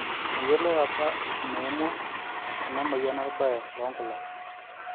meyioloi apa eneimua ena moyian orbae loonkulak